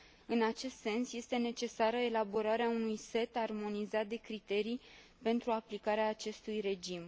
În acest sens, este necesară elaborarea unui set armonizat de criterii pentru aplicarea acestui regim.